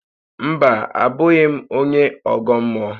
Mba, abụghị m onye ọgọ mmụọ